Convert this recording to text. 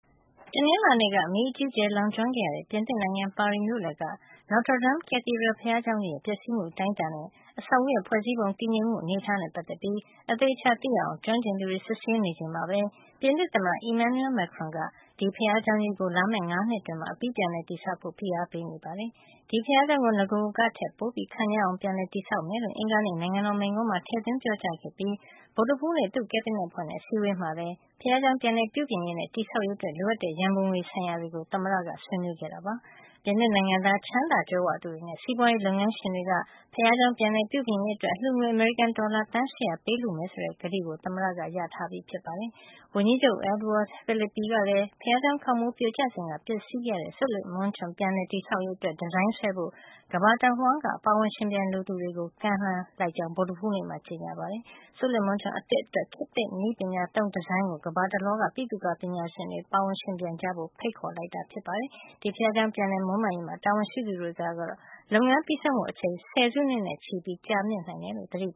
တနင်္လာနေ့က မီးအကြီးအကျယ် လောင်ကျွမ်းခဲ့ရတဲ့ ပြင်သစ်နိုင်ငံ ပါရီမြို့လယ်က Notre Dame Cathedral ဘုရားကျောင်းကြီးရဲ့ ပျက်စီးမှု အတိုင်းအတာနဲ့ အဆောက်အဦးရဲ့ ဖွဲ့စည်းပုံ တည်ငြိမ်မှု အနေထားနဲ့ ပတ်သက်ပြီး အသေအချာ သိရအောင် ကျွမ်းကျင်သူတွေ စစ်ဆေးနေချိန်မှာပဲ ပြင်သစ်သမ္မတ Emmanuel Macron က ဒီဘုရားကျောင်းကြီးကို လာမယ့် ၅ နှစ်အတွင်း အပြီး ပြန်လည်တည်ဆောက်ဖို့ ဖိအားပေးနေပါတယ်။ ဒီဘုရားကျောင်းကို နဂိုကထက် ပိုခန့်ညားလှပအောင် ပြန်တည်ဆောက်မယ်လို့ အင်္ဂါနေ့ နိုင်ငံတော်မိန့်ခွန်းမှာ ထည့်သွင်း ပြောကြားခဲ့ပြီး ဗုဒ္ဓဟူးနေ့ သူ့ကက်ဘိနက်အဖွဲ့နဲ့ အစည်းအဝေးမှာလည်း ဘုရားကျောင်း ပြန်လည်ပြုပြင်ရေးနဲ့ တည်ဆောက်ရေး အတွက် လိုအပ်တဲ့ ရံပုံငွေ ဆိုင်ရာတွေကို သမ္မတ Macron က ဆွေးနွေးခဲ့တာပါ။ ပြင်သစ်နိုင်ငံသား ချမ်းသာကြွယ်ဝသူတွေနဲ့ စီးပွါးရေး လုပ်ငန်းရှင်တွေက ဘုရားကျောင်း ပြန်လည်ပြုပြင်ရေးအတွက် အလှူငွေ အမေရိကန် ဒေါ်လာ သန်း ၈၀၀ ပေးလှူ ကြမယ်ဆိုတဲ့ ကတိကို သမ္မတ Macron ရထားပြီး ဖြစ်ပါတယ်။ ဝန်ကြီးချုပ် Edouard Philippe ကလည်း ဘုရားကျောင်းခေါင်မိုး ပြိုကျစဉ်က ပျက်စီးခဲ့ရတဲ့ စုလစ်မွန်းချွန် ပြန်လည် တည်ဆောက်ရေး အတွက် ဒီဇိုင်းဆွဲဖို့ ကမ္ဘာတဝှမ်း ပါဝင်ယှဉ်ပြိုင်လိုသူတွေကို ကမ်းလှမ်းကြောင်း ဗုဒ္ဓဟူးနေ့မှာပဲ ကြေညာခဲ့ပါတယ်။ စုလစ်မွန်းချွန် အသစ် အတွက် ခေတ်သစ်နည်းပညာသုံး ဒီဇိုင်းကို ကမ္ဘာတလွှားက ဗိသုကာ ပညာရှင်တွေ ပါဝင် ယှဉ်ပြိုင်ကြဖို့ ဖိတ်ခေါ်လိုက်တာ ဖြစ်ပါတယ်။ ဒီဘုရားကျောင်း ပြန်လည်မွန်းမံရေးမှာ တာဝန်ရှိသူတွေကတော့ လုပ်ငန်းပြီးဆုံးဖို့ အချိန် ဆယ်စုနှစ်နဲ့ချီပြီး ကြာမြင့်နိုင်တယ်လို့ သတိပ